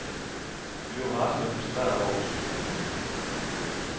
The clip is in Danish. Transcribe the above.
Vi var rasende og frustrerede over beslutningen.